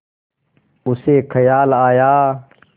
उसे ख़याल आया